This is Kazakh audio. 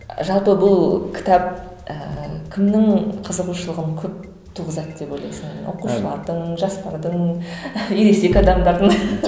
ы жалпы бұл кітап ііі кімнің қызығушылығын көп туғызады деп ойлайсың оқушылардың жастардың ересек адамдардың